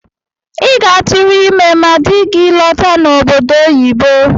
I ga-atụrụ ime ma dị gị lọta n’obodo oyibo